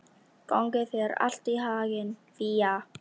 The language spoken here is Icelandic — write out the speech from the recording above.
Gangi þér allt í haginn, Fía.